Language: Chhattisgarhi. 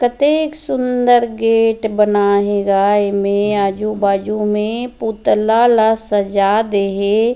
कतेके सूंदर गेट बने हे गा ऐ में आजु बाजु में पुतला ला सजा दे हे।